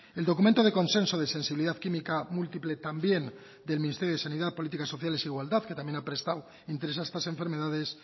el documento de consenso de sensibilidad química múltiple también del ministerio de sanidad políticas sociales e igualdad que también ha prestado interés a estas enfermedades